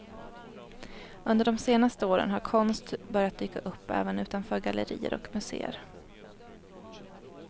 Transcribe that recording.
Under de senaste åren har konst börjat dyka upp även utanför gallerier och museer.